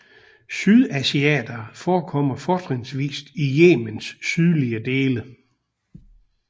Sydasiatere forekommer fortrinsvist i Yemens sydlige dele